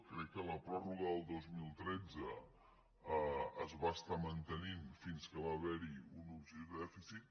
crec que la pròrroga del dos mil tretze es va estar mantenint fins que hi va haver hi un objectiu de dèficit